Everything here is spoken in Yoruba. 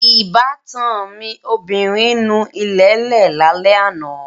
Ìbátan mi obìnrin nu ilẹ̀lẹ́ẹ̀ lálẹ́ àná